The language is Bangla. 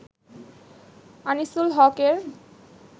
আনিসুল হক-এর